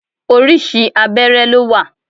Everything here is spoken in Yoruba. Orísìí abẹ́rẹ́ ló wà.